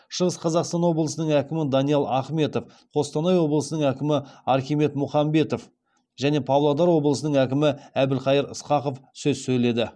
шығыс қазақстан облысының әкімі даниал ахметов қостанай облысының әкімі архимед мұхамбетов және павлодар облысының әкімі әбілқайыр ысқақов сөз сөйледі